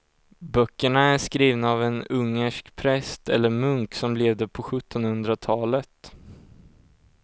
Böckerna är skrivna av en ungersk präst eller munk som levde på sjuttonhundratalet.